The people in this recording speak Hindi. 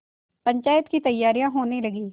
पंचायत की तैयारियाँ होने लगीं